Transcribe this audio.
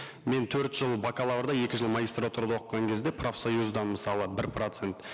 мен төрт жыл бакалаврда екі жыл магистратурада оқыған кезде профсоюзда мысалы бір процент